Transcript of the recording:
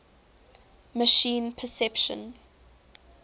machine perception